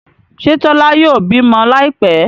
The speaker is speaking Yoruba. Ṣe Tola yóò bímọ Láìpé?